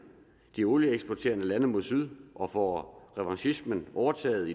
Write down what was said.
de olieeksporterende lande mod syd og får revanchismen overtaget